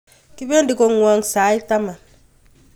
Kipendi kong'wong' sait taman